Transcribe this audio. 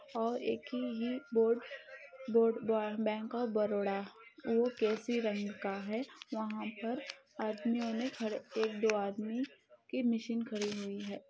और एक ही board board bank of Baroda वोह केसी रंग का है वहाँ पर आदमीओ उन्हे खड़े एक दो आदमी की मशीन खड़ी हुई है।